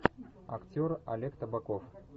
актер олег табаков